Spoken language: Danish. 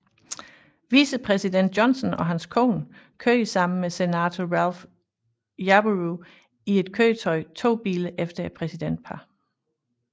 Vicepræsident Johnson og hans kone kørte sammen med senator Ralph Yarborough i et køretøj to biler efter præsidentparret